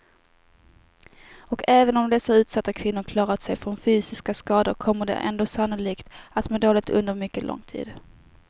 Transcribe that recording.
Och även om dessa utsatta kvinnor klarat sig från fysiska skador kommer de ändå sannolikt att må dåligt under mycket lång tid.